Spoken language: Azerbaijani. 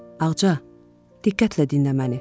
Ağca, diqqətlə dinlə məni.